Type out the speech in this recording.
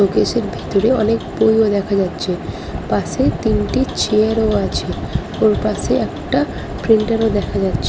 showcase -এর ভেতরে অনেক বই ও দেখা যাচ্ছে পাশে তিনটি চেয়ার -ও আছে ওপাশে একটা প্রিন্টার -ও দেখা যাচ --